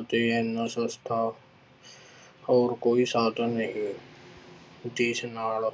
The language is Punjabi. ਅਤੇ ਇੰਨਾ ਸਸਤਾ ਹੋਰ ਕੋਈ ਸਾਧਨ ਨਹੀਂ, ਜਿਸ ਨਾਲ